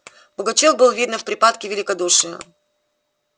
пугачёв был видно в припадке великодушия